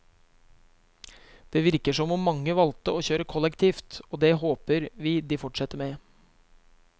Det virker som om mange valgte å kjøre kollektivt, og det håper vi de fortsetter med.